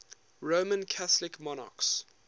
roman catholic monarchs